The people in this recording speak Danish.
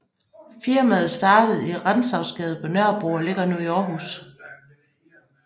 Firmaet startede i Rantzausgade på Nørrebro og ligger nu i Aarhus